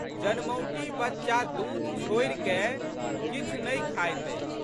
जनमौटी बच्चा दूध छोड़िकए किछु नहि खाइत अछि।